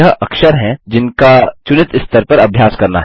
यह अक्षर हैं जिनका चुनित स्तर पर अभ्यास करना है